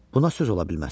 Buna söz ola bilməz.